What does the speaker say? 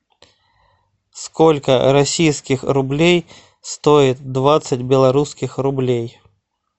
сколько российских рублей стоит двадцать белорусских рублей